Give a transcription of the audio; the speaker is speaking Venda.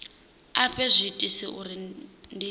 a fhe zwiitisi uri ndi